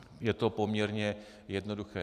Je to poměrně jednoduché.